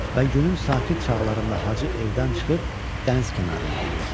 Və günün sakit çağlarında hacı evdən çıxıb dəniz kənarına gedirdi.